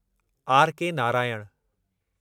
R K Narayan